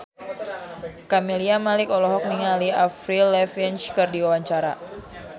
Camelia Malik olohok ningali Avril Lavigne keur diwawancara